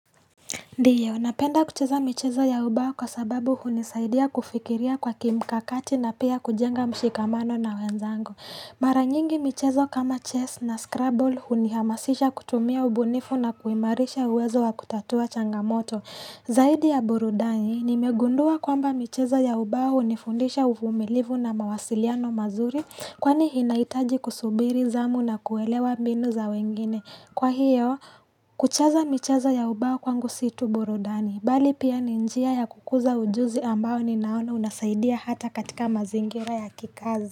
Ndio, napenda kucheza michezo ya ubao kwa sababu hunisaidia kufikiria kwa mkakati na pia kujenga mshikamano na wenzangu. Mara nyingi michezo kama chess na scrabble hunihamasisha kutumia ubunifu na kuimarisha uwezo wa kutatua changamoto. Zaidi ya burudani, nimegundua kwamba michezo ya ubao nifundisha ufumilivu na mawasiliano mazuri kwani inaitaji kusubiri zamu na kuwelewa mbinu za wengine. Kwa hiyo, kucheza michaza ya ubao kwangu si tu burudani, bali pia ni njia ya kukuza ujuzi ambao ninaona unasaidia hata katika mazingira ya kikazi.